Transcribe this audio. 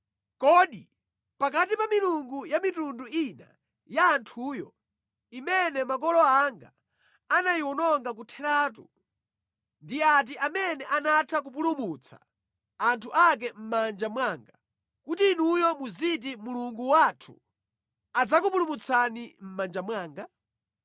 Kodi ndi milungu iti mwa milungu ya mitundu ina ya anthuwo, imene makolo anga anayiwononga kotheratu, inatha kupulumutsa anthu ake mʼdzanja langa? Nanga tsono Mulungu wanuyo adzakupulumutsani mʼdzanja langa motani?